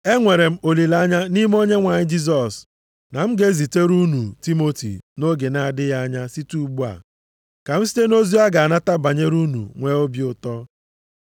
Enwere m olileanya nʼime Onyenwe anyị Jisọs na m ga-ezitere unu Timoti nʼoge na-adịghị anya site ugbu a, ka m site nʼozi ọ ga-anata banyere unu nwee obi ụtọ.